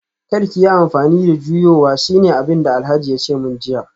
Kar ki yi amfani da juyowa shine abinda Alhaji yace min jiya